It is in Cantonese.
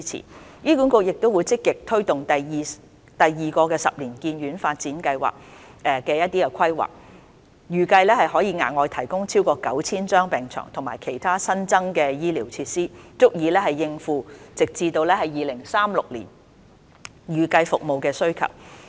醫院管理局亦會積極推動第二個十年醫院發展計劃的規劃，預計可額外提供超過 9,000 張病床及其他新增的醫療設施，足以應付直至2036年的預計服務需求。